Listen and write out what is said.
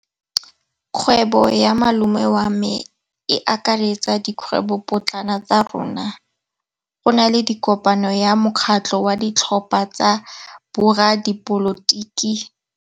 Kgwêbô ya malome wa me e akaretsa dikgwêbôpotlana tsa rona. Go na le kopanô ya mokgatlhô wa ditlhopha tsa boradipolotiki.